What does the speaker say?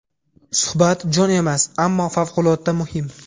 Suhbat jo‘n emas, ammo favqulodda muhim.